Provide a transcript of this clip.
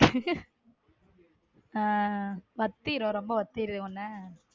வத்திரும் ரொம்ப வத்திரும் என்ன.